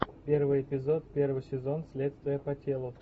первый эпизод первый сезон следствие по телу